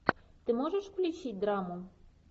ты можешь включить драму